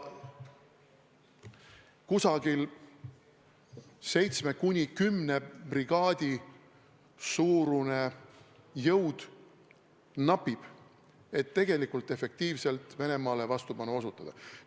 Umbes seitsme kuni kümne brigaadi suurune jõud – seda napib, et efektiivselt Venemaale vastupanu osutada.